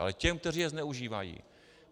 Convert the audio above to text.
Ale těm, kteří je zneužívají.